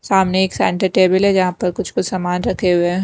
सामने एक centre table हैजहाँ पर कुछ-कुछ सामान रखे हुए हैं।